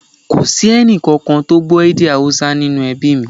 Kò sí ẹnì kankan tí ò gbọ́ èdè Haúsá nínú ẹbí mí